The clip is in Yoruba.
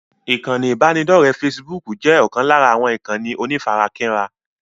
Ikán ibanidọ̀rẹ́ "fésííbùùkù" jẹ́ ọ̀kan lára àwọn ìkànnì onífarakínra.